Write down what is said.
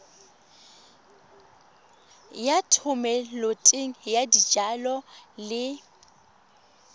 ya thomeloteng ya dijalo le